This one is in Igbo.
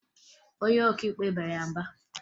Onye ọkaikpe bara ya mba